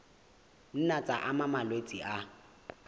nna tsa ama malwetse a